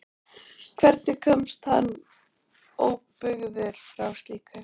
Hvernig komst hann óbugaður frá slíku?